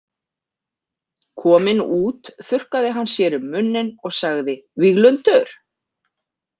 Kominn út þurrkaði hann sér um munninn og sagði: Víglundur?